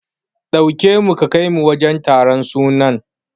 Ɗauke nu ka kaimu wajen taron sunan.